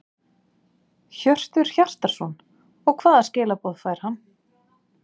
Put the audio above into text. Hjörtur Hjartarson: Og hvað skilaboð fær hann?